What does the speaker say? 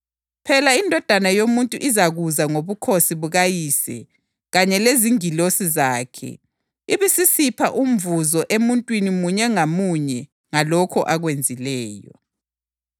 Ngilitshela iqiniso, abanye abemiyo khonapha kabayikukuzwa ukufa bengakayiboni iNdodana yoMuntu isiza embusweni wayo.”